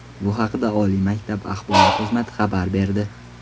Bu haqda oliy maktab axborot xizmati xabar berdi .